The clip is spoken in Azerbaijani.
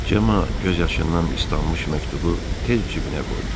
Cemma göz yaşından islanmış məktubu tez cibinə qoydu.